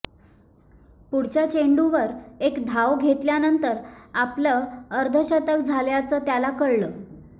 पुढच्या चेंडूवर एक धाव घेतल्यानंतर आपलं अर्धशतक झाल्याचं त्याला कळलं